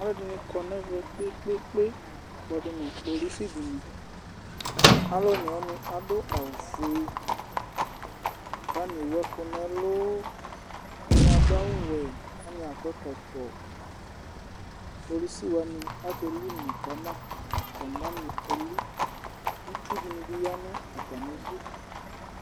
Alʋɛfini kɔnʋ emɛ kpe kpe kpe, kpɔdʋ nʋ kpolʋsɩ dɩnɩ, alʋ onewani adʋ awʋfue, kʋ atani ewʋ ɛkʋ nʋ ɛlʋ, ɛdini adʋ awʋwɛ kʋ atanɩ akɔ ɛkɔtɔ, kpolʋsɩ wani akelɩ une kama nʋ atani nameli itsʋ dɩnɩ bi yanʋ atami ɩdʋ